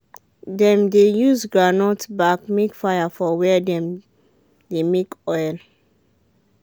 dem dey use groundnut back make fire for where dem dey make oil